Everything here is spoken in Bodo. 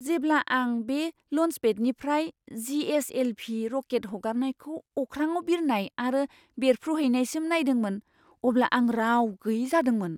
जेब्ला आं बे ल'न्सपेडनिफ्राय जी.एस.एल.भी. रकेट हगारनायखौ अख्राङाव बिरनाय आरो बेरफ्रुहैनायसिम नायदोंमोन, अब्ला आं राव गैयै जादोंमोन!